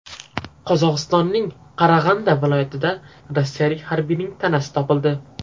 Qozog‘istonning Qarag‘anda viloyatida rossiyalik harbiyning tanasi topildi.